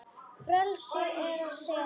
Frelsi er að segja Nei!